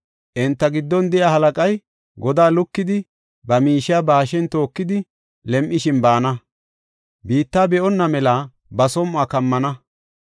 Enta giddon de7iya halaqay godaa lukidi ba miishiya ba hashen tookidi, lem7ishin baana; biitta be7onna mela ba som7uwa kammana.